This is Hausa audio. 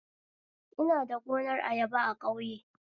Ina da gunar ayaba a ƙauye